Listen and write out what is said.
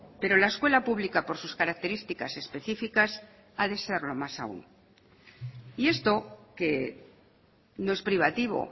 pero la escuela pública por sus características específicas ha de serlo más aún y esto que no es privativo